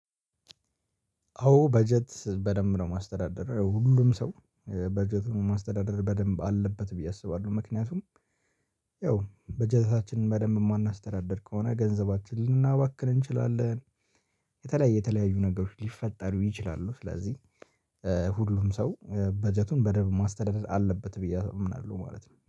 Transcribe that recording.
አዎ በጀት በደንብ ነው ማስተዳደር ሁሉም ሰው በጀቱን ማስተዳደር በደንብ አለበት ብዬ አስባለሁ። ምክንያቱም ያው በጀታችንን በደንብ የማናስተዳድር ከሆነ ገንዘባችን ልናባክን እንችላለን። የተለያየ የተለያዩ ነገሮች ሊፈጠሩ ይችላሉ። ስለዚህ ሁሉም ሰው በጀቱን በደንብ ማስተዳደር አለበት ብዬ አምናለሁ ማለት ነው